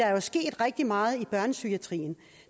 er jo sket rigtig meget i børnepsykiatrien